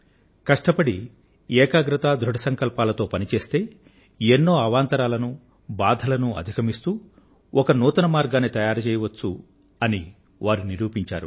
కష్టపడి ఏకాగ్రతతో ధృఢసంకల్పంతో పని చేసి ఎన్నో అవాంతరాలను బాధలను అధిగమిస్తూ ఒక నూతన మార్గాన్ని తయారు చేయవచ్చని వారు నిరూపించారు